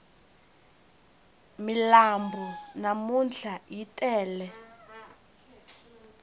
milambu namntlha yi tele